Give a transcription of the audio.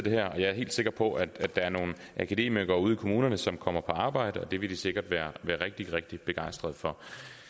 er helt sikker på at der er nogle akademikere ude i kommunerne som kommer på arbejde og det vil de sikkert være rigtig rigtig begejstret for